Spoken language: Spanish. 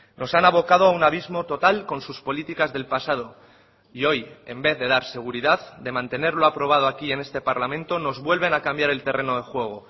nos han abocado a un abismo total con sus políticas del pasado y hoy en vez de dar seguridad de mantener lo aprobado aquí en este parlamento nos vuelven a cambiar el terreno de juego